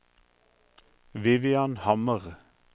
Vivian Hammer